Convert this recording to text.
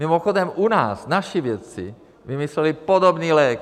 Mimochodem, u nás naši vědci vymysleli podobný lék.